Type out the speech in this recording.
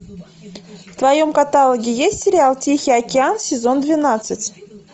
в твоем каталоге есть сериал тихий океан сезон двенадцать